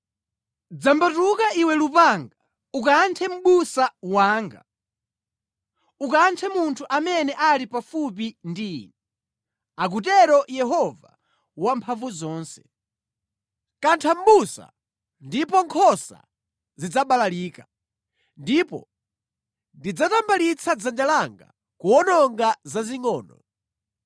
“Dzambatuka iwe lupanga, ukanthe mʼbusa wanga, ukanthe munthu amene ali pafupi ndi Ine!” akutero Yehova Wamphamvuzonse. Kantha mʼbusa ndipo nkhosa zidzabalalika, ndipo ndidzatambalitsa dzanja langa kuwononga zazingʼono.